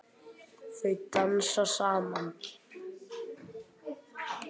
Þau dansa saman.